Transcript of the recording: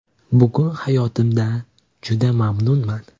Bugun hayotimdan juda mamnunman.